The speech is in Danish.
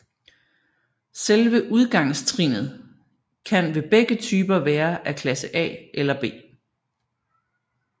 Selve udgangstrinnet kan ved begge typer være af klasse A eller B